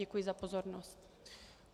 Děkuji za pozornost.